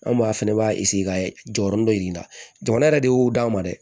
An maa fɛnɛ b'a ka jɔyɔrɔ dɔ yir'i la jamana yɛrɛ de y'o d'a ma dɛ